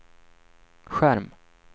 skärm